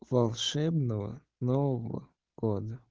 волшебного нового года